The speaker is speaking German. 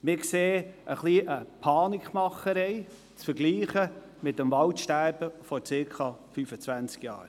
Wir sehen ein wenig eine Panikmache, vergleichbar mit dem Waldsterben vor circa 25 Jahren.